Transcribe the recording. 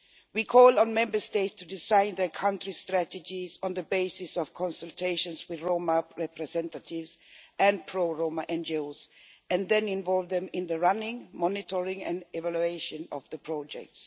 We call on Member States to design their country strategies on the basis of consultations with Roma representatives and pro Roma NGOs, and then involve them in the running, monitoring and evaluation of the projects.